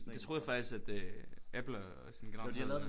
Det troede jeg faktisk at øh Apple og sådan generelt